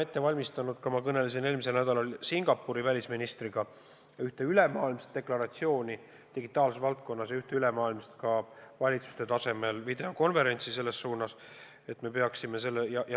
Eelmisel nädalal me valmistasime Singapuri välisministriga ette ühte ülemaailmset deklaratsiooni digitaalses valdkonnas ja ühte ülemaailmset valitsuste tasemel videokonverentsi samas valdkonnas.